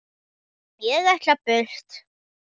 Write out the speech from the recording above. Ég ætla burt.